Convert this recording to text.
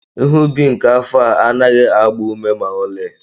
Ihe ubi nke afọ a anaghị agba ume ma ọlị